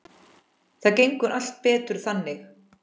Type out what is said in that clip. Það gengur allt betur þannig.